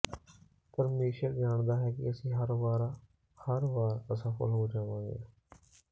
ਪਰਮੇਸ਼ੁਰ ਜਾਣਦਾ ਹੈ ਕਿ ਅਸੀਂ ਹਰ ਵਾਰ ਹਰ ਵਾਰ ਅਸਫਲ ਹੋ ਜਾਵਾਂਗੇ